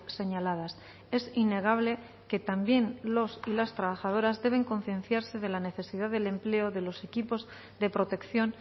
señaladas es innegable que también los y las trabajadoras deben concienciarse de la necesidad del empleo de los equipos de protección